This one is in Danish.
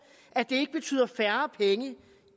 at det ikke betyder færre penge